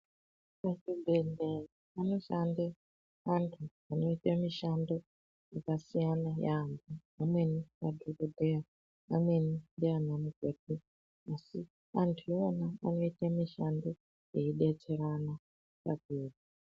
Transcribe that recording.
Muchibhedhleya munoshande anhu anoite mushando yakasiyana yaampo amweni madhokodheya amweni ndiana mukoti asi anhu iwona anoite mushando wekubetsera na vatenda.